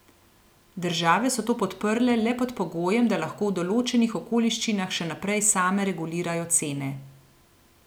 Države so to podprle le pod pogojem, da lahko v določenih okoliščinah še naprej same regulirajo cene.